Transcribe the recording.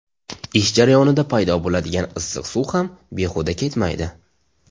Ish jarayonida paydo bo‘ladigan issiq suv ham behuda ketmaydi.